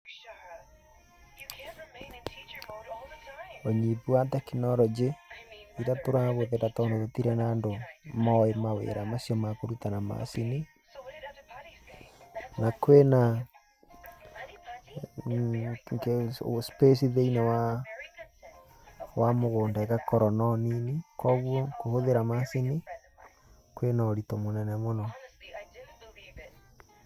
Ũnyihu wa teknoronjĩ ĩrĩa tũrahũthĩra tondũ gũtirĩ na andũ mowĩ kũruta mawĩra macio makũruta na macini. Na kwĩ na space thĩiniĩ wa mũgũnda ĩgakorwo no nini, kogwo kũhũthĩra macini kwĩ na ũritũ mũnene mũno.